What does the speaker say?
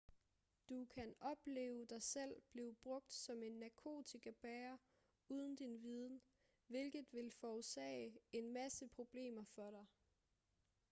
du kanne opleve dig selv blive brugt som en narkotikabærer uden din viden hvilket vil forårsage en masse problemer for dig